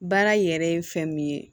Baara yɛrɛ ye fɛn min ye